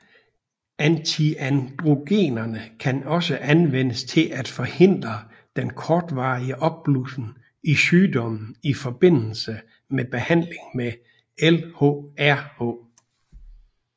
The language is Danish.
Antiandrogenerne kan også anvendes til at forhindre den kortvarige opblussen i sygdommen i forbindelse med behandling med LHRH